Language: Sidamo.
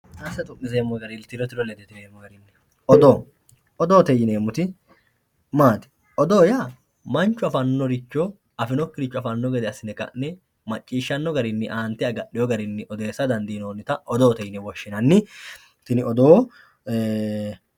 odoo odoote yineemmoti maati? odoo yaa manchu afannoricho afinokkiricho afanno garinni aante agahine odeessinannita odoote yinanni tini odoo